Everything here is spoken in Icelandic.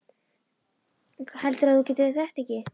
Heldurðu að þú getir þetta ekki?